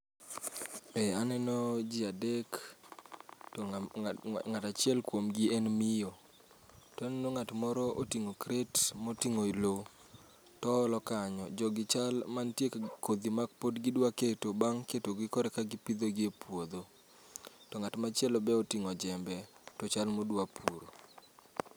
Ee aneno ji adek to ng'am ng'a ng'atachiel kuom gi en miyo. Taneno ng'at moro oting'o kret moting'o lo, to olo kanyo. Jogi chal mantie kodhi ma pod gidwa keto bang' ketogi korka gipidhogie puodho. To ng'at machielo be oting'o jembe, to chal modwa puro.